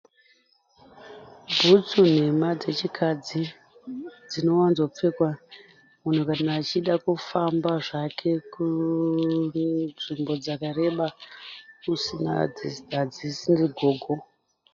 Butsu nhema dzechikadzi dzinowanzopfekwa munhu kana achida kufamba zvake kunzvimbo dzakareba hadzisiri gogo.